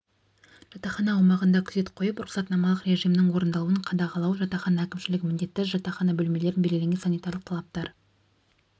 жатақхана аумағында күзет қойып рұқсатнамалық режимінің орындалуын қадағалау жатақхана әкімшілігі міндетті жатақхана бөлмелерін белгіленген санитарлық талаптар